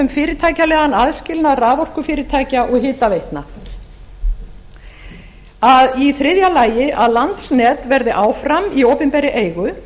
um fyrirtækjalegan aðskilnað raforkufyrirtækja og hitaveitna í þriðja lagi að landsnet verði áfram í opinberri eigu